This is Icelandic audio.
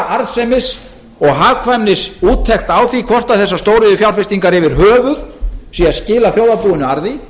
arðsemis og hagkvæmnisúttekt á því hvort þessar stóriðjufjárfestingar yfir höfuð séu að skila þjóðarbúinu arði